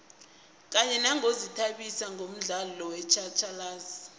kanye nangokuzithabisa ngomdlalo wetjhatjhalazi